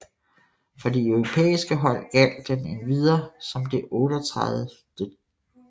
For de europæsike hold gjaldt den endvidere som det 38